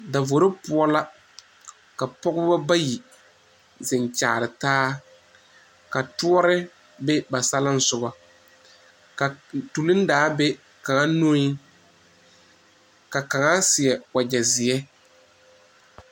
Davoro poɔ la ka pɔgeba bayi zeŋ kyaare taa ka tɔɔre be ba saleŋsoga, ka toleŋ daa be kaŋa nupoɔ ka kaŋa seɛ wagyɛ zeɛ.